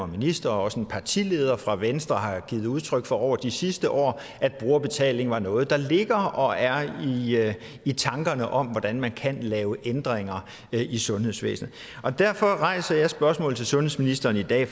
og ministre og også en partileder fra venstre har givet udtryk for over de sidste år at brugerbetaling er noget der ligger og er i tankerne om hvordan man kan lave ændringer i sundhedsvæsenet derfor rejser jeg spørgsmålet over for sundhedsministeren i dag